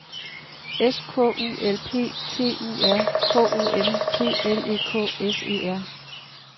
S K U L P T U R K O M P L E K S E R